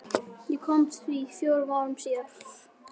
Ég komst að því fjórum árum síðar.